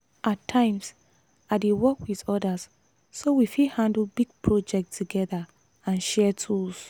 at times i dey work with others so we fit handle big project together and share tools.